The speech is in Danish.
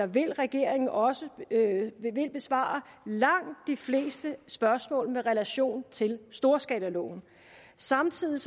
vil regeringen også besvare langt de fleste spørgsmål med relation til storskalaloven samtidig